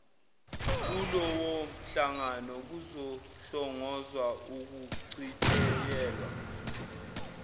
kulowomhlangano kuzohlongozwa ukucitshiyelwa